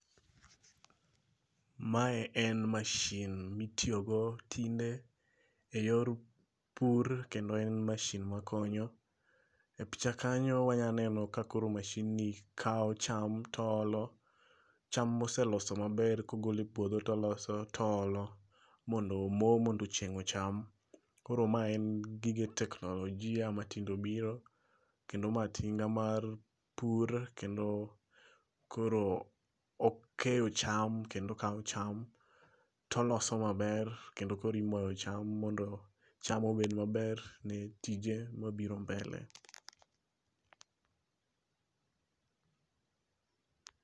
Mae an mashin mitiyogo tinde e yor pur kendo en mashin makonyo. E picha kanyo wanyaneno kakaoro masin ni kaw cham to o olo. Cham moseloso maber kogole puodho toloso to olo mondo mo mondo chieng' ocham. Koro ma en gige teknologia ma tinde obiro. Kendo ma tinga mar pur kendo koro okeyo cham kendo okaw cham toloso maber. Kendo koro imoyo cham mondo cham obed maber ni tije mabiro mbele.